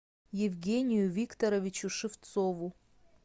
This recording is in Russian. евгению викторовичу шевцову